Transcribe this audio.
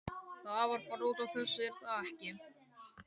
Það var bara út af þessu, er það ekki?